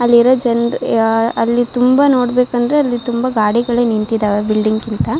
ಅಲ್ಲಿರೋ ಜನ್ ಯಾ ಅಲ್ಲಿ ತುಂಬಾ ನೋಡಬೇಕೆಂದರೆ ಅಲ್ಲಿ ತುಂಬಾ ಗಾಡಿಗಳು ನಿಂತಿದ್ದಾವೆ ಬಿಲ್ಡಿಂಗ್ ಗಿಂತ--